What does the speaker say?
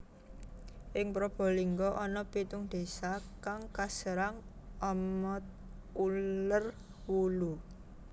Ing Probolinggo ana pitung désa kang kaserang ama uler wulu